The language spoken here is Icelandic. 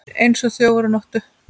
Eins og þjófur á nóttu